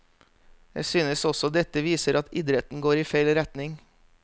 Jeg synes også dette viser at idretten går i feil retning.